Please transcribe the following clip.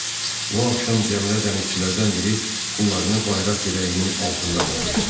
Bu axşam gəmidə dənizçilərdən biri pullarını bayraq dirəyinin altında tapmışdı.